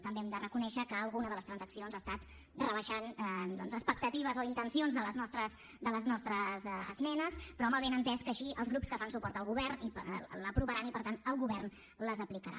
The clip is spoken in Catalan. també hem de reconèixer que alguna de les transaccions ha estat rebaixant doncs expectatives o intencions de les nostres esmenes però amb el benentès que així els grups que fan suport al govern l’aprovaran i per tant el govern les aplicarà